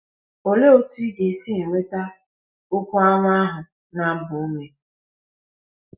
Olee otú ị ga - esi enweta “ okwu ọma ” ahụ na - agba ume?